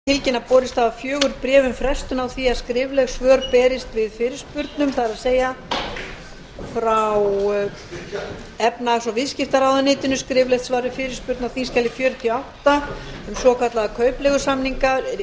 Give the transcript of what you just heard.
forseti vill tilkynna að borist hafa fjögur bréf um frestun á því að skrifleg svör berist við fyrirspurnum það er frá efnahags og viðskiptaráðuneytinu skriflegt svar við fyrirspurn á þingskjali fjörutíu og átta um svokallaða kaupleigusamninga